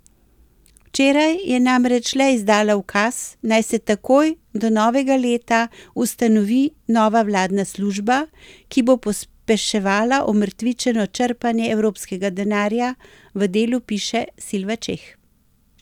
Včeraj je namreč le izdala ukaz, naj se takoj, do novega leta, ustanovi nova vladna služba, ki bo pospeševala omrtvičeno črpanje evropskega denarja, v Delu piše Silva Čeh.